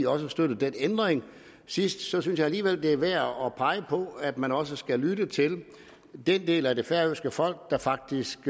også støttede den ændring sidst så synes jeg alligevel det er værd at pege på at man også skal lytte til den del af det færøske folk der faktisk